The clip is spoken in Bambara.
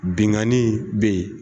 Binkani bɛ yen